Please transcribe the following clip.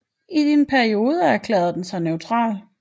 I en periode erklærede den sig neutral